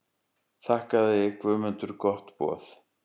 Þakkaði Guðmundur gott boð.